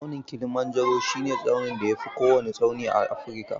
Tsaunin Kilimanjaro shi ne tsaunin da ya fi kowanne tsawo a Afrika